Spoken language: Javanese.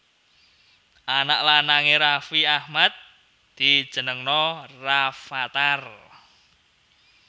Anak lanang e Raffi Ahmad dijenengno Rafattar